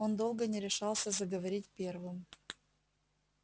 он долго не решался заговорить первым